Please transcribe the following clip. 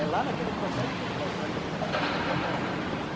É lá naquele processo que a gente vai saber se ela vai dar bonita ou não.